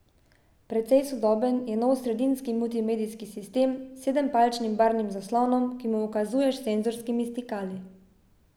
Precej sodoben je nov sredinski multimedijski sistem s sedempalčnim barvnim zaslonom, ki mu ukazuješ s senzorskimi stikali.